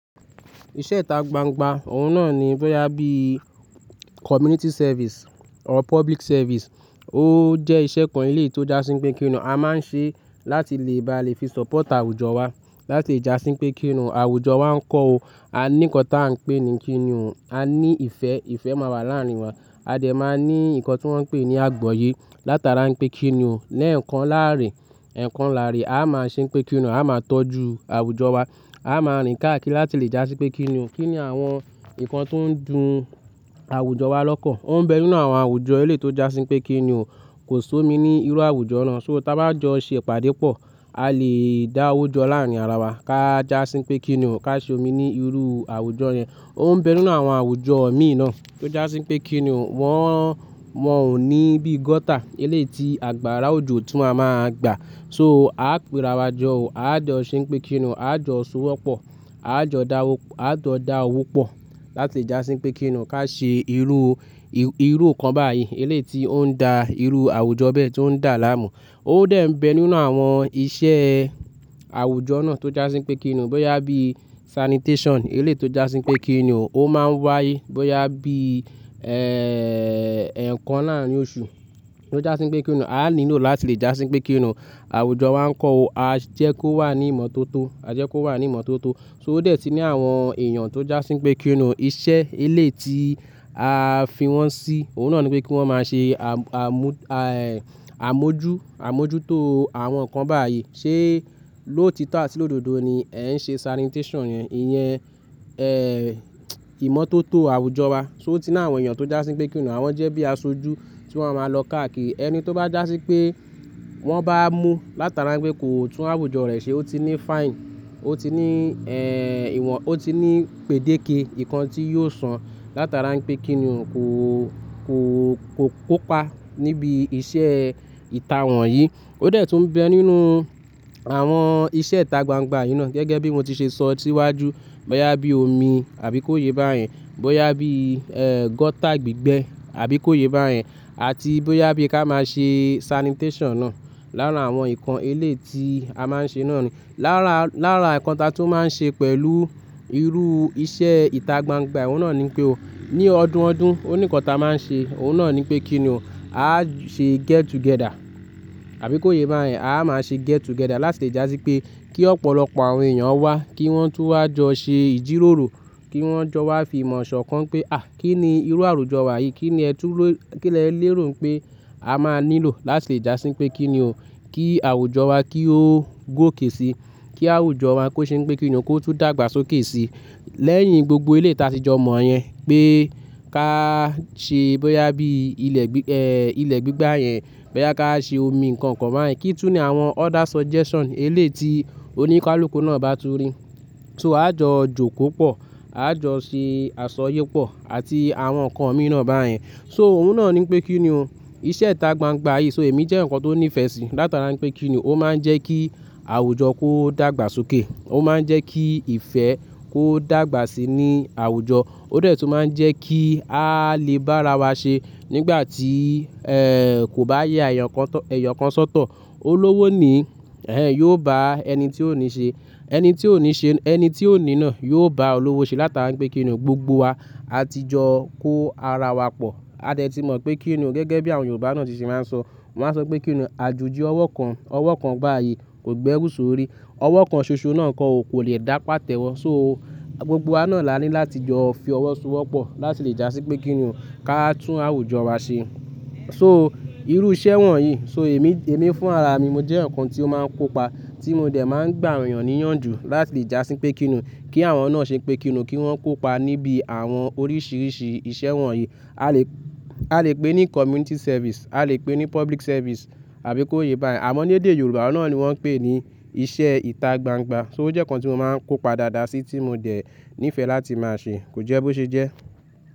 Iṣẹ́ ìta gbangba, òun náà ni bóyá bí community service or public service. Ó jẹ́ iṣẹ́ kan elétò jásín pé kíni o, a máa ń ṣe láti lè bá lè fi support àwùjọ wa. Láti jásín pé kíni o, àwùjọ máa ń kọ́ o, a ní nǹkan táa ń pè ní kíni o, a ní ìfẹ́, ìfẹ́ máa wà láàrin wa. A dẹ̀ máa ní nǹkan tí wọ́n ń pè ní àgbọyé. Láti ara ń pé kíni o, lẹ́ẹ̀kan láàárín, ẹ̀kan láàárín, a máa ṣe pé kíni o, a máa tọ́jú àwùjọ wa. A máa rìn káàkiri láti lè jásín pé kíni o. Kí ni àwọn nǹkan tó ń dùn àwùjọ wa lọ́kàn? Ó ń bẹ nínú àwọn àwùjọ elétò jásín pé kíni o kò sómi ní irú àwùjọ náà. So táa bá jọ ṣe ìpàdé pọ̀, a lè dáwójọ láàrin ara wa. Ka jásín pé kíni o ká ṣe omi ní irú àwùjọ yẹn. Ó ń bẹ nínú àwọn àwùjọ mi náà tó jásí n pé kíni o, wọ́n, wọ́n ò ní bí gutter eléyítí àgbàrá òjò tún máa má gbà. So a á pirawọ́ jọ o, a á jọ ṣe pé kíni o, a á jọ so wọ́pọ̀, a á jọ dá, a á jọ dá owó pọ̀ láti jásín pé kíni o ká ṣe irú, irú nǹkan báyìí elétì ó ń dà irú àwùjọ bẹ́ẹ̀ tó ń dà láàmú. Ó dèń bẹ nínú àwọn iṣẹ́ àwùjọ náà tó jásín pé kíni o, bóyá bí sanitation elétì o jásín pé kíni o, ó máa ń wáyé. Bóyá bí, ẹ́ẹ́, ẹ̀kan láàrin oṣù tó jásín pé kíni o, a á nílò láti lè jásín pé kíni o. Àwùjọ máa ń kọ́ o, a jẹ́ kó wà ní ìmọ́tótó, a jẹ́ kó wà ní ìmọ́tótó. So ó dè tí ní àwọn èèyàn tó jásín pé kíni o, iṣẹ́ eléyí tí a fi wọ́n sí, òun náà ni pé kí wọ́n máa ṣe àmú, àmójú, àmójútó àwọn nǹkan báyìí. Ṣé ló tító àti lọ́dọ̀dọ́ ni ẹ ń ṣe sanitation yẹn? Ìyẹn, ẹ́ẹ́, ìmọ́tótó àwùjọ wa. So ó ti ní àwọn èèyàn tó jásín pé kíni o, àwọn jẹ́ bí aṣojú tí wọ́n máa lọ káàkiri. Ẹni tó bá jásín pé wọ́n bá mú látara pé kò tún àwùjọ rẹ̀ ṣe, ó ti ní fine, ó ti ní, ẹ́ẹ́, ìwọ̀n, ó ti ní pè déke, nǹkan tí yóò san látara ń pé kíni o kò, kò, kò kópa níbi iṣẹ́ ìta wọ̀nyí. Ó dè tún ń bẹ nínú àwọn iṣẹ́ ìta gbangba yìí náà. Gẹ́gẹ́ bí mo ti ṣe sọ síwájú, bóyá bí omi àbí kó yẹ bá yẹn, bóyá bí, ẹ́ẹ́, gutter gbígbẹ àbí kó yẹ bá yẹn, àti bóyá bí ká máa ṣe sanitation náà láàárà àwọn nǹkan eléyí tí a máa ń ṣe náà ni. Láàárà, láàárà nǹkan táa tún máa ń ṣe pẹ̀lú irú iṣẹ́ ìta gbangba, òun náà ni pé o. Ní ọdún ọdún oníkan ta máa ń ṣe, òun náà ni pé kíni o, a á ṣe get together àbí kó yẹ bá yẹn. A á máa ṣe get together láti lè jásín pé kí ọ̀pọ̀lọpọ̀ àwọn èèyàn wá, kí wọ́n tún wá jọ ṣe ìjíròrò, kí wọ́n jọ wá fi ìmọ̀ sọkàn pé, à, kí ni irú àwùjọ wa yìí? Kí ni ẹ tú ló, kí ni ẹ lérò pé a máa nílò láti jásín pé kíni o, kí àwùjọ wa kí ó gòkè sí. Kí àwùjọ wa kó ṣe n pé kíni o kó tún dàgbàsókè sí. Lẹ́yìn gbogbo eléyí tí a ti jọ mọ̀ yẹn pé ká ṣe bóyá bí ilẹ̀, ẹ́ẹ́, ilẹ̀ gbígbà yẹn, bóyá ká ṣe omi nǹkan kan bá yẹn. Kí túni àwọn other suggestion eléyí tí oníkálùkù náà bá tún rí. So a jọ jó kó pọ̀, a jọ ṣe àsọyé pọ̀ àti àwọn nǹkan míràn bá yẹn. So òun náà ni pé kíni o, iṣẹ́ ìta gbangba yìí. So èmi jẹ́ nǹkan tó nífẹ̀ẹ́ sí látara ń pé kíni o, ó máa ń jẹ́ kí àwùjọ kó dàgbàsókè. Ó máa ń jẹ́ kí ìfẹ́ kó dàgbà síi ní àwùjọ. Ó dè tún máa ń jẹ́ kí a lè bá ara wa ṣe nígbà tí, ẹ́ẹ́, kò bá yẹ àyàn kan tó, ẹ̀yọ̀ kan sọ́tọ̀. Olówó ni, ẹẹ́, yóò bá ẹni tí ò ní ṣe, ẹni tí ò ní ṣe, ẹni tí ò ní náà yóò bá olówó ṣe látara ń pé kíni o gbogbo wa a ti jọ kó ara wa pọ̀. A dè tí mọ̀ pé kíni o gẹ́gẹ́ bí àwọn Yorùbá náà ti ṣe máa ń sọ. Wọ́n á sọ pé kíni o àjujù ọwọ́ kan, ọwọ́ kan bá yí kò gbé ẹrú sórí. Ọwọ́ kan ṣoṣo náà kọ ò kò lè dá pàtẹ́wọ́. So gbogbo wa náà la ní láti jọ fi ọwọ́ so wọ́pọ̀ láti lè jásí pé kíni o ká tún àwùjọ wa ṣe. So irú iṣẹ́ wọ̀nyí, so èmi, èmi fún ara mi, mo jẹ́ ẹ̀yàn kan tí ó máa ń kópa tí mo dè máa ń gbà àwọn èèyàn níyànjú láti lè jásín pé kíni o kí àwọn náà ṣe pé kíni o kí wọ́n kópa níbi àwọn oríṣiríṣi iṣẹ́ wọ̀nyí. A lè, a lè pè ní community service, a lè pè ní public service àbí kó yẹ bá yẹn. Àmọ́ ní èdè Yorùbá náà ni wọ́n ń pè ní iṣẹ́ ìta gbangba. So ó jẹ́ nǹkan tí mo máa ń kópa dáadáa sí tí mo dà nífẹ̀ẹ́ láti máa ṣe, kò jẹ́ bó ṣe jẹ́.